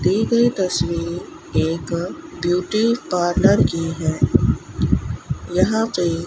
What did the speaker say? दी गयी तस्वीर एक ब्यूटी पार्लर की है यहां पे --